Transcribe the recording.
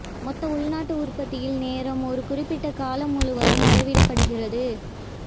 மொத்த உள்நாட்டு உற்பத்தியில் நேரம் ஒரு குறிப்பிட்ட காலம் முழுவதும் அளவிடப்படுகிறது